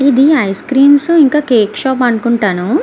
ఇది ice creams ఇంకా cakes shop అనుకుంటాను.